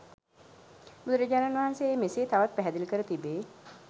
බුදුරජාණන් වහන්සේ එය මෙසේ තවත් පැහැදිලි කර තිබේ.